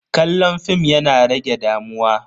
Kallon fim yana rage damuwa.